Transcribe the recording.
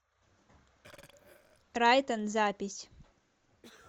райтон запись